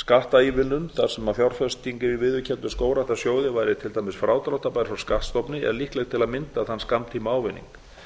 skattaívilnun þar sem fjárfesting í viðurkenndum skógræktarsjóði væri til dæmis frádráttarbær frá skattstofni er líkleg til að mynda þann skammtímaávinning